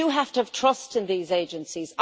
We do have to have trust in these Agencies.